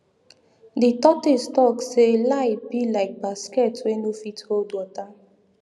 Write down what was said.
di tortoise talk say lie be like basket wey no fit hold water